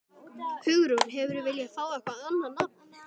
Hugrún: Hefðirðu viljað fá eitthvað annað nafn?